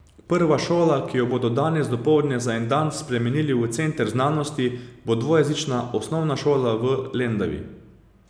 Prva šola, ki jo bodo danes dopoldne za en dan spremenili v center znanosti, bo dvojezična osnovna šola I v Lendavi.